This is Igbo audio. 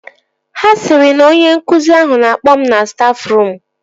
Ha sịrị na onye nkụzi ahụ na-akpọ m na stafruum